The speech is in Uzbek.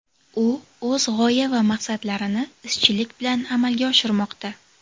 U o‘z g‘oya va maqsadlarini izchillik bilan amalga oshirmoqda.